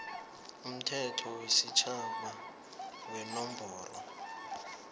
umthetho wesitjhaba wenomboro